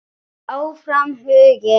Áfram Huginn.